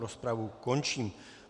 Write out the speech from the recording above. Rozpravu končím.